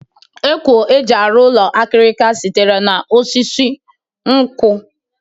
Ekwo e ji arụ ụlọ akịrịka sitere n'osisi nkwọ